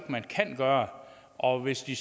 at man kan gøre og hvis de